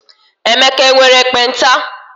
Emeka nwere ekpenta?